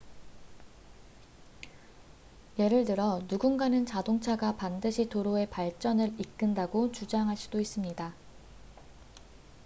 예를 들어 누군가는 자동차가 반드시 도로의 발전을 이끈다고 주장할 수도 있습니다